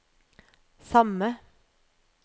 samme